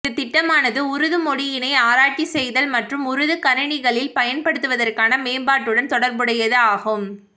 இந்த திட்டமானது உருது மொழியினை ஆராய்ச்சி செய்தல் மற்றும் உருது கணினிகளில் பயன்படுத்துவதற்கான மேம்பாட்டுடன் தொடர்புடையது ஆகும்